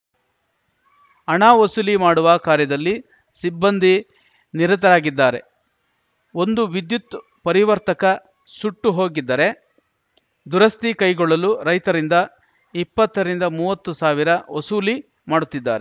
ಹಣ ವಸೂಲಿ ಮಾಡುವ ಕಾರ್ಯದಲ್ಲಿ ಸಿಬ್ಬಂದಿ ನಿರತರಾಗಿದ್ದಾರೆ ಒಂದು ವಿದ್ಯುತ್‌ ಪರಿವರ್ತಕ ಸುಟ್ಟು ಹೋಗಿದ್ದರೆ ದುರಸ್ತಿ ಕೈಗೊಳ್ಳಲು ರೈತರಿಂದ ಇಪ್ಪತ್ತರಿಂದ ಮೂವತ್ತು ಸಾವಿರ ವಸೂಲಿ ಮಾಡುತ್ತಿದ್ದಾರೆ